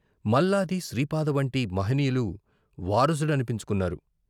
మల్లాది, శ్రీపాద వంటి మహనీయులు వారసుడనిపించుకున్నారు.